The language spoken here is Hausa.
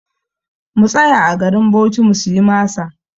Mu tsaya a garin Bauchi mu siya masa!